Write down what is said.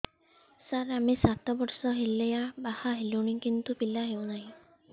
ସାର ଆମେ ସାତ ବର୍ଷ ହେଲା ବାହା ହେଲୁଣି କିନ୍ତୁ ପିଲା ହେଉନାହିଁ